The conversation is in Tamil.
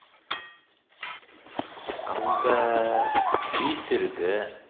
அங்க beach இருக்கு